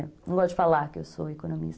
Não gosto de falar que eu sou economista.